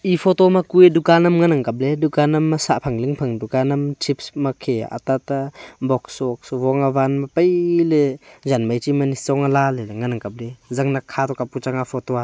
e photo ma kue dukan am ngan kap ley dukan am ma sah phang ling phang dukan am chips ma khe atata box vox abo ma van ma pai ley jan mai chi ma nyichong ae ala ley ley ngan kap ley.